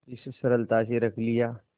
इस सरलता से रख लिया